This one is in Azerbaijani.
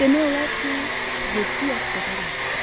Demək olar ki, yeddi yaş qədər yaxşıdır.